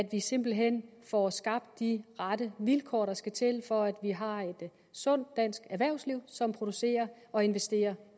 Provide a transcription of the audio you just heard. vi simpelt hen får skabt de rette vilkår der skal til for at vi har et sundt dansk erhvervsliv som producerer og investerer